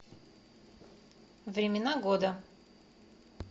времена года